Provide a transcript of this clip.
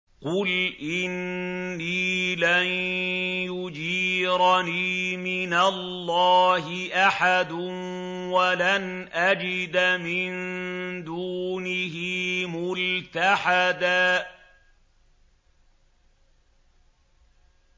قُلْ إِنِّي لَن يُجِيرَنِي مِنَ اللَّهِ أَحَدٌ وَلَنْ أَجِدَ مِن دُونِهِ مُلْتَحَدًا